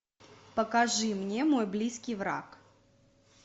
покажи мне мой близкий враг